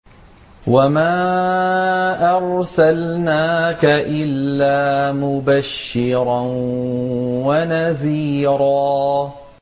وَمَا أَرْسَلْنَاكَ إِلَّا مُبَشِّرًا وَنَذِيرًا